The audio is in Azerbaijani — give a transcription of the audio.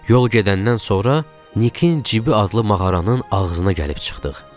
Yol gedəndən sonra Nikin Cibi adlı mağaranın ağzına gəlib çıxdıq.